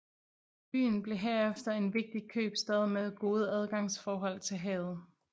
Byen blev herefter en vigtig købstad med gode adgangsforhold til havet